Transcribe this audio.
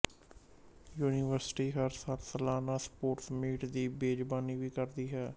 university ਹਰ ਸਾਲ ਸਲਾਨਾ ਸਪੋਰਟਸ ਮੀਟ ਦੀ ਮੇਜ਼ਬਾਨੀ ਵੀ ਕਰਦੀ ਹੈ